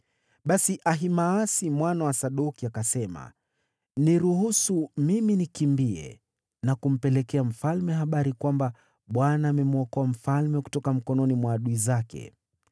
Basi Ahimaasi mwana wa Sadoki akasema, “Niruhusu mimi nikimbie na kumpelekea mfalme habari kwamba Bwana amemwokoa mfalme kutoka mikononi mwa adui zake.”